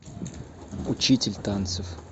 учитель танцев